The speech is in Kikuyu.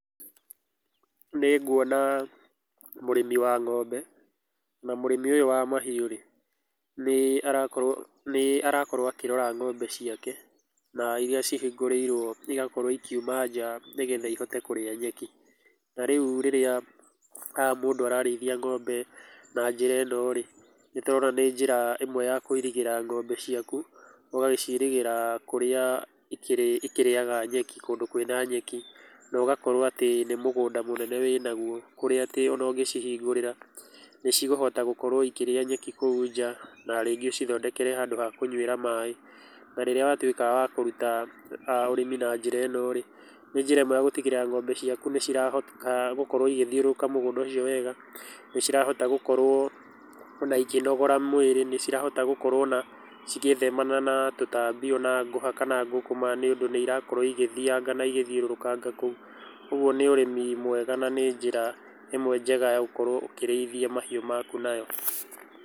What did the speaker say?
Nĩ nguona mũrĩmi wa ng'ombe, na mũrĩmi ũyũ wa mahiũ rĩ, nĩ arakorwo akĩrora ng'ombe ciake, na irĩa cihingũrĩirwo igakorwo ikiuma nja, nĩgetha ihote kũrĩa nyeki, na rĩu rĩrĩa mũndũ ararĩithia ng'ombe na njĩra ĩno rĩ, nĩ ndona nĩ njĩra ĩmwe ya kũirigĩra ng'ombe ciaku, ũgagĩciirigĩra kũrĩa ikĩrĩ ikĩrĩaga nyeki kũndũ kwĩ na nyeki, nogakorwo atĩ nĩ mũgũnda mũnene wĩ naguo kũrĩa atĩ ona ũngĩcihingũrĩra, nĩ cikũhota gũkorwo ikĩrĩa nyeki kũu nja, na rĩngĩ ũcithondekere handũ ha kũnyua maĩ, na rĩrĩa watuĩka wa kũruta ũrĩmi na njĩra ĩno rĩ, nĩ njĩra ĩmwe ya gũtigĩrĩra ng'ombe ciaku nĩ cirahota gũkorwo igĩthiũrũrũka mũgũnda ũcio wega, nĩ cirahota gũkorwo ona ikĩnogora mwĩrĩ, nĩ cirahota gũkorwo na cigĩthemana na tũtambi, ona ngũha, kana ngũkũma nĩũndũ nĩ irakorwo igĩthianga na igĩthiũrũrũkanga kũu, ũguo nĩ ũrĩmi mwega na nĩ njĩra ĩmwe njega ya gũkorwo ũkĩrĩithia mahiũ maku nayo.